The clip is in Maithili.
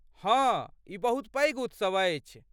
हँ, ई बहुत पैघ उत्सव अछि।